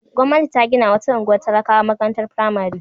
Gwamnati ta ginawa wata unguwar talakawa makarantar firamare.